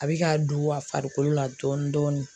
A bɛ ka don a farikolo la dɔɔni dɔɔni